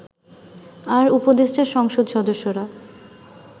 আর উপদেষ্টা সংসদ সদস্যরা